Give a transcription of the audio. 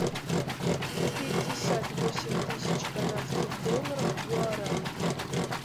пятьдесят восемь тысяч канадских долларов в гуарани